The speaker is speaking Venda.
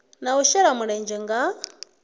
na u shela mulenzhe nga